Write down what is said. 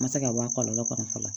Ma se ka bɔ a kɔlɔlɔ kɔrɔ fɔlɔ la